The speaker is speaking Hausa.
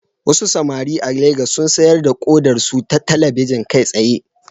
Wasu samari a Legas sun sayar da kodarsu ta talabijin kai tsaye